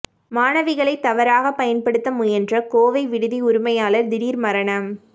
மாணவிகளை தவறாக பயன்படுத்த முயன்ற கோவை விடுதி உரிமையாளர் திடீர் மரணம்